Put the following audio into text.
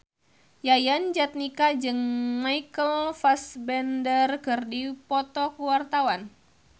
Yayan Jatnika jeung Michael Fassbender keur dipoto ku wartawan